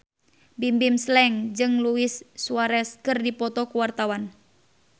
Bimbim Slank jeung Luis Suarez keur dipoto ku wartawan